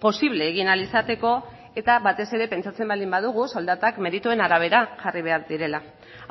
posible egin ahal izateko eta batez ere pentsatzen baldin badugu soldatak merituen arabera jarri behar direla